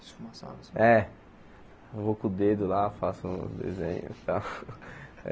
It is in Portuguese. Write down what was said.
Esfumaçado É, eu vou com o dedo lá, faço um desenho e tal.